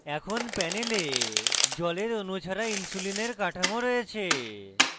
এখন panel জলের অণু ছাড়া insulin কাঠামো রয়েছে